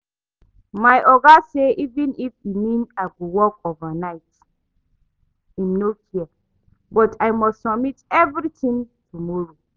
My oga say even if e mean I go work overnight im no care, but I must submit everything tomorrow